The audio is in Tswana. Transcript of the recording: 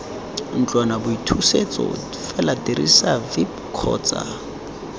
ntlwanaboithusetso fela dirisa vip kgotsa